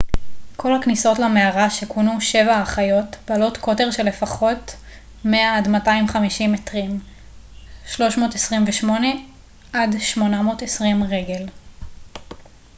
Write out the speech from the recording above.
"כל הכניסות למערה שכונו "שבע האחיות" בעלות קוטר של לפחות 100 עד 250 מטרים 328 עד 820 רגל.